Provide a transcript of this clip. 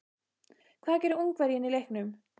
Hvað gerir Ungverjinn í leiknum?